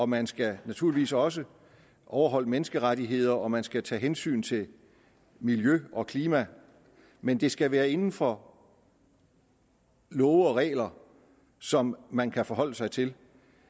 man skal naturligvis også overholde menneskerettigheder og man skal tage hensyn til miljø og klima men det skal være inden for love og regler som man kan forholde sig til